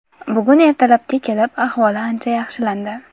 Bugun ertalabga kelib ahvoli ancha yaxshilandi.